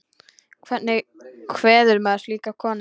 Hvernig kveður maður slíka konu?